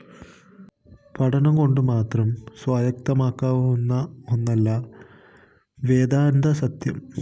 പഠനംകൊണ്ടുമാത്രം സ്വായത്തമാക്കാവുന്ന ഒന്നല്ല വേദാന്തസത്യം